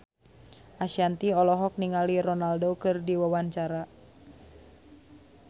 Ashanti olohok ningali Ronaldo keur diwawancara